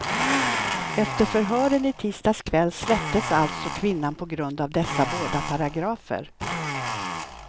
Efter förhören i tisdags kväll släpptes alltså kvinnan på grund av dessa båda paragrafer.